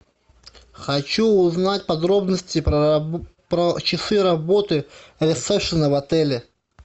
хочу узнать подробности про часы работы ресепшена в отеле